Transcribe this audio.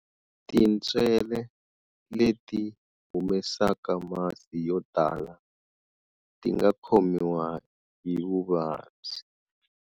Tintswele leti humesaka masi yo tala, ti nga khomiwa hi vuvabyi.